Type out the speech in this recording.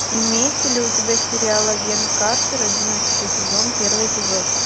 имеется ли у тебя сериал агент картер одиннадцатый сезон первый эпизод